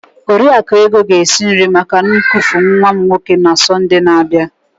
Oriakụ Ego ga-esi nri maka ñnkufu nwa m nwoke na Sọnde na-abịa.